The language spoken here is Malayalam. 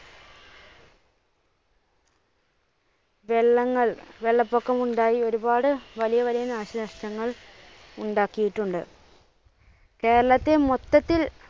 വെള്ളങ്ങൾ, വെള്ളപൊക്കമുണ്ടായി ഒരുപാട് വലിയ വലിയ നാശനഷ്ടങ്ങൾ ഉണ്ടാക്കിയിട്ടുണ്ട് കേരളത്തെ മൊത്തത്തിൽ